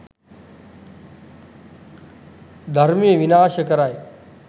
ධර්මය විනාශ කරයි.